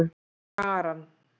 Kjaran